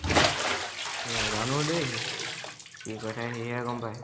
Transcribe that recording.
নাজানু দেই সি, কি কয় থাকে সিহে গম পায়।